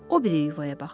O biri yuvaya baxır.